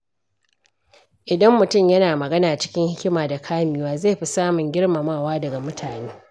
Idan mutum yana magana cikin hikima da kamewa, zai fi samun girmamawa daga mutane.